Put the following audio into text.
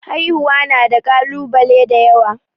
Haihuwa na da kalubale da yawa.